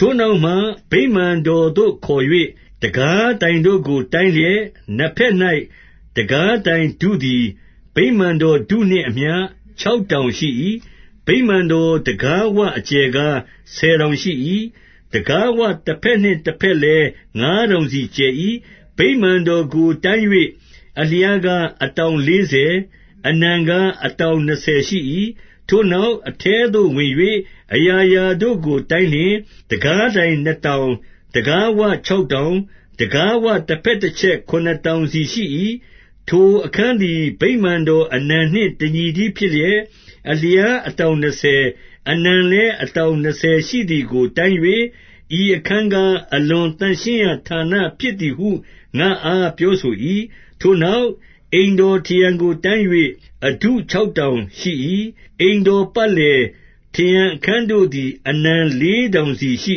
ထိုနောက်မှ ဗိမာန်တော်သို့ခေါ်၍ တံခါးတိုင် တို့ကို တိုင်းလျှင်၊ နှစ်ဘက်၌ တံခါးတိုင်ထုသည် ဗိမာန် တော်ထုနှင့်အမျှ ခြောက်တောင်ရှိ၏။ 2 ဗိမာန်တော်တံခါးဝအကျယ်ကား ဆယ်တောင် ရှိ၏။ တံခါးဝတဘက်နှင့်တဘက်လည်း ငါးတောင်စီ ကျယ်၏။ ဗိမာန်တော်ကိုတိုင်း၍၊ အလျားကား အတောင် လေးဆယ်၊ အနံကားအတောင်နှစ်ဆယ်ရှိ၏။ 3 ထိုနောက်၊ အထဲသို့ဝင်၍ အရာရာတို့ကို တိုင်း လျှင်၊ တံခါးတိုင် နှစ်တောင်၊ တံခါးဝခြောက်တောင်၊ တံခါးဝတဘက်တချက် ခုနစ်တောင်စီရှိ၏။ 4 ထိုအခန်းသည် ဗိမာန်တော်အနံနှင့် တညီ တည်းဖြစ်လျက်၊ အလျားအတောင်နှစ်ဆယ်၊ အနံလည်း အတောင်နှစ်ဆယ်ရှိသည်ကို တိုင်း၍၊ ဤအခန်းကား အလွန်သန့်ရှင်းရာဌာနဖြစ်သည်ဟု ငါ့အားပြောဆို၏။ 5 ထိုနောက်၊ အိမ်တော်ထရံကိုတိုင်း၍ အထု ခြောက်တောင်ရှိ၏။ အိမ်တော်ပတ်လည် ထရံအခန်းတို့ သည် အနံလေးတောင်စီရှိ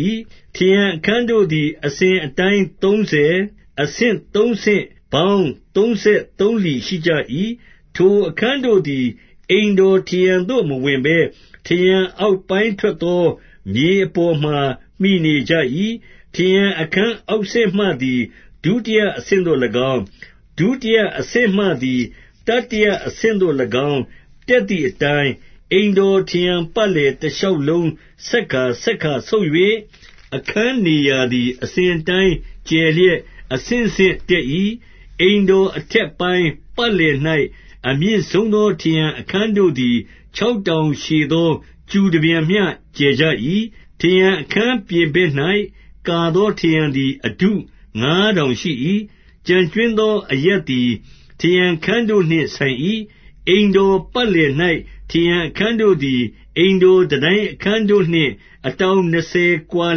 ၏။ 6 ထရံအခန်းတို့သည် အစဉ်အတိုင်းသုံးဆယ်၊ အဆင့်သုံးဆင့်ပေါင်းသုံးဆယ်သုံးလီ ရှိကြ၏။ ထိုအခန်း တို့သည် အိမ်တော်ထရံထဲသို့ မဝင်ဘဲထရံအောက်ပိုင်း ထွက်သောခြေအပေါ်မှာ မှီနေကြ၏။ 7 ထရံအခန်းအောက်ဆင့်မှသည် ဒုတိယအဆင့် သို့၎င်း၊ ဒုတိယအဆင့်မှသည် တတိယအဆင့်သို့၎င်း တက်သည်အတိုင်း၊ အိမ်တော်ထရံပတ်လည် တရှောက် လုံးဆက်ကာ ဆက်ကာဆုတ်၍၊ အခန်းနေရာသည် အစဉ် အတိုင်းကျယ်လျက် အဆင့်ဆင့်တက်၏။ 8 အိမ်တော်အထက်ပိုင်း ပတ်လည်၌ အမြင့်ဆုံး သော ထရံအခန်းတို့သည် ခြောက်တောင်ရှည်သော ကျူတပြန်မျှ ကျယ်ကြ၏။ 9 ထရံအခန်းပြင်ဘက်၌ကာသော ထရံသည် အထုငါးတောင်ရှိ၏။ ကျန်ကြွင်းသောအရပ်သည် ထရံအခန်းတို့နှင့် ဆိုင်၏။ 10 အိမ်တော်ပတ်လည်၌ ထရံအခန်းတို့သည် အိမ်တော်တန်တိုင်းအခန်းတို့နှင့် အတောင်နှစ်ဆယ် ကွာ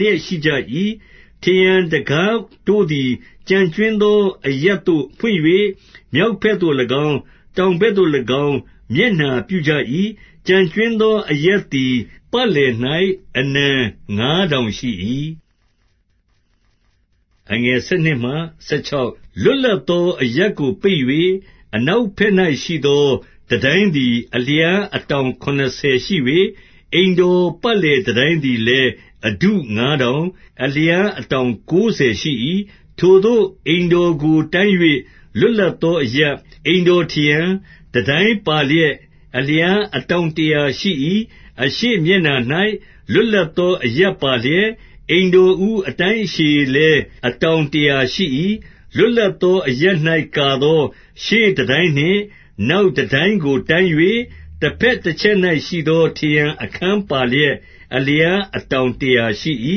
လျက်ရှိကြ၏။ 11 ထရံအခန်းတို့သည် ကျန်ကြွင်းသောအရပ်သို့ ဖွင့်၍ မြောက်ဘက်သို့၎င်း၊ တောင်ဘက်သို့၎င်း မျက်နှာ ပြုကြ၏။ ကျန်ကြွင်းသော အရပ်သည် ပတ်လည်၌ အနံငါးတောင်ရှိ၏။ 12 လွတ်လပ်သော အရပ်ကိုပိတ်၍ အနောက် ဘက်၌ရှိသော တန်တိုင်းသည် အလျားအတောင်ခုနစ် ဆယ်ရှိ၍၊ အိမ်တော်ပတ်လည် တန်တိုင်းသည်လည်း အထုငါးတောင်၊ အလျားအတောင်ကိုးဆယ်ရှိ၏။ 13 ထိုသို့အိမ်တော်ကိုတိုင်း၍ လွတ်လပ်သောအရပ်၊ အိမ်တော်ထရံ၊ တန်တိုင်းပါလျက်အလျား အတောင်တရာ ရှိ၏။ 14 အရှေ့မျက်နှာ၌ လွတ်လပ်သောအရပ်ပါလျက်၊ အိမ်တော်ဦး အတိုင်းအရှည်လည်း အတောင်တရာရှိ၏။ 15 လွတ်လပ်သောအရပ်၌ ကာသောရှေ့တန်တိုင် နှင့် နောက်တန် တိုင်ကိုတိုင်း၍၊ တဘက်တချက်၌ရှိသော ထရံအခန်းပါလျက် အလျားအတောင်တရာရှိ၏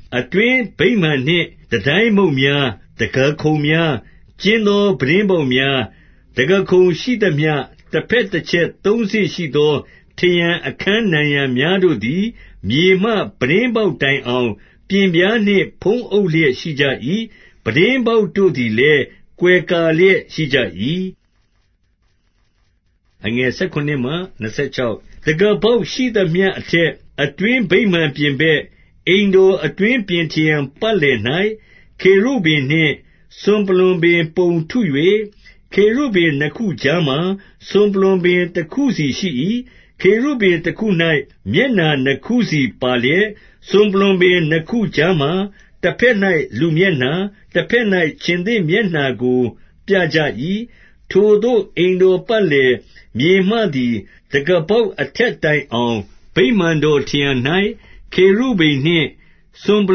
။ 16 အတွင်းဗိမာန်နှင့်တန်တိုင်မုတ်များ၊ တံခါးခုံ များ၊ ကျဉ်းသော ပြတင်းပေါက်များ၊ တံခါးခုံရှိသမျှ တဘက်တချက်သုံးဆင့်ရှိသော ထရံအခန်းနံရံများတို့ သည် မြေမှပြတင်းပေါက်တိုင်အောင် ပျဉ်ပြားနှင့်ဖုံး အုပ် လျက်ရှိ၏။ ပြတင်းပေါက်တို့သည်လည်း ကွယ်ကာလျက် ရှိကြ၏။ 17 တံခါးပေါက်ရှိသမျှအထက်၊ အတွင်းဗိမာန်ပြင် ဘက်၊ အိမ်တော်အတွင်းပြင်ထရံပတ်လည်၌ ခေရုဗိမ်နှင့် စွန်ပလွံပင်ပုံထု၍၊ 18 ခေရုဗိမ်နှစ်ခုကြားမှာ စွန်ပလွံပင်တခုစီရှိ၏။ ခေရုဗိမ်တခု၌ မျက်နှာနှစ်ခုစီပါလျက်၊ 19 စွန်ပလွံပင်နှစ်ခုကြားမှာ တဘက်၌လူမျက်နှာ၊ တဘက်၌ ခြင်္သေ့မျက်နှာကို ပြကြ၏။ 20 ထိုသို့ အိမ်တော်ပတ်လည်၊ မြေမှသည်တံခါး ပေါက်အထက်တိုင်အောင် ဗိမာန်တော်ထရံ၌ ခေရုဗိမ် နှင့် စွန်ပ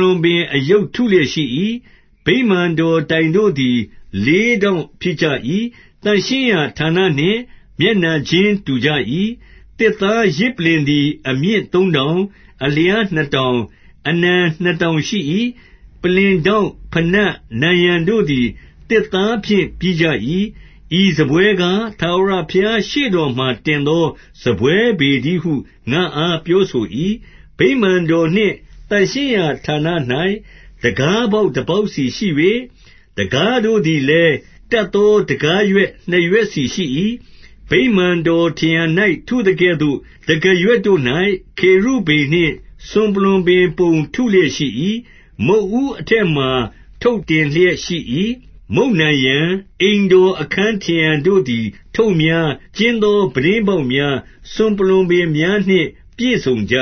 လွံပင် အရုပ်ထုလျက်ရှိ၏။ 21 ဗိမာန်တော်တိုင်တို့သည် လေးထောင့်ဖြစ်ကြ၏။ သန့်ရှင်းရာဌာနနှင့် မျက်နှာချင်းတူကြ၏။ 22 သစ်သားယဇ်ပလ္လင်သည် အမြင့်သုံးတောင်၊ အလျားနှစ်တောင်၊ အနံနှစ်တောင်ရှိ၏။ ပလ္လင်ထောင့်၊ ဘိနပ်၊ နံရံတို့သည်သစ်သားဖြင့်ပြီးကြ၏။ ဤစားပွဲကား၊ ထာဝရဘုရားရှေ့တော်မှာတင်သော စာပွဲပေတည်းဟု ငါ့အားပြောဆို၏။ 23 ဗိမာန်တော်နှင့် သန့်ရှင်းရာဌာန၌ တံခါးပေါက် တပေါက်စီ ရှိ၍၊ 24 တံခါးတို့သည်လည်း တပ်သော တံခါးရွက် နှစ်ရွက်စီရှိ၏။ 25 ဗိမာန်တော်ထရံ၌ထုသကဲ့သို့ တံခါးရွက်တို့၌ ခေရုဗိမ်နှင့် စွန်ပလွံပင်ပုံ ထုလျက်ရှိ၏။ မုတ်ဦးအထက်မှာ ထုပ်တင်လျက်ရှိ၏။ 26 မုတ်နံရံ၊ အိမ်တော်အခန်းထရံတို့သည် ထုပ်များ၊ ကျဉ်းသော ပြတ်တင်းပေါက်များ၊ စွန်ပလွံပင်များနှင့် ပြည့်စုံကြ